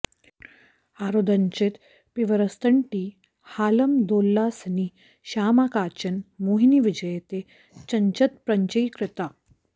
हारोदञ्चित पीवरस्तनतटी हालामदोल्लासिनी श्यामा काचन मोहिनी विजयते चञ्चत्प्रपञ्चीकृता